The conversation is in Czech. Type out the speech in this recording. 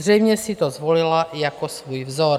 Zřejmě si to zvolila jako svůj vzor.